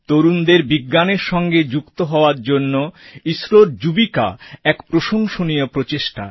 তরুণদের বিজ্ঞানের সঙ্গে যুক্ত করার জন্য ইসরোর যুবিকা এক প্রশংসনীয় প্রচেষ্টা